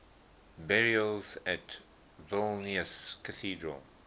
burials at vilnius cathedral